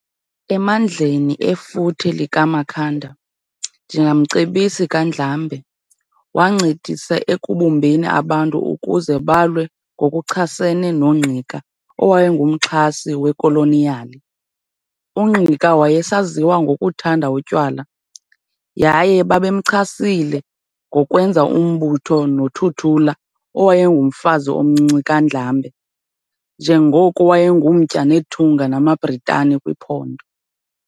Emandleni efuthe likaMakhanda, njengamcebisi kaNdlambe, wancedisa ekubumbeni abantu ukuze balwe ngokuchasene noNgqika owayengumxhasi wekoloniyali. UNgqika wayesaziwa ngokuthanda utywala, yaye babemchasile ngokwenza umbulo noThuthula owayengumfazi omncinci kaNdlambe, njengoko wayengumtya nethunga namaBritani kwiphondo.